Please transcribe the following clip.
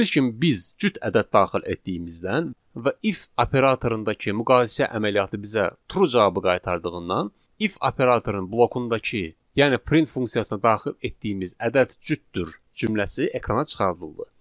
Gördüyünüz kimi biz cüt ədəd daxil etdiyimizdən və if operatorundakı müqayisə əməliyyatı bizə true cavabı qaytardığından, if operatorunun blokundakı, yəni print funksiyasına daxil etdiyimiz ədəd cütdür cümləsi ekrana çıxarıldı.